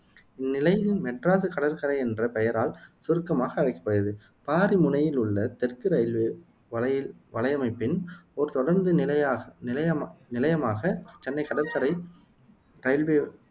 இந்நிலையம் மெட்ராசு கடற்கரை என்ற பெயரால் சுருக்கமாக அழைக்கப்படுகிறது பாரிமுனையில் உள்ள தெற்கு ரயில்வே வலையின் வலையமைப்பின் ஓர் தொடருந்து நிலையாக நிலையமா நிலையமாக சென்னை கடற்கரை